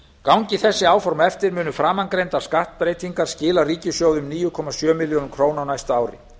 gangi þessi áform eftir munu framangreindar skattbreytingar skila ríkissjóði um níu komma sjö milljörðum króna á næsta ári